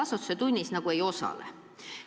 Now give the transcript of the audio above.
See nagu ongi normaalne.